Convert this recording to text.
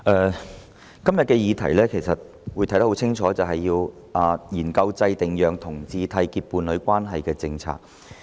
主席，今天要討論的議題相當清楚，就是要研究制訂讓同志締結伴侶關係的政策。